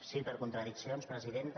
sí per contradiccions presidenta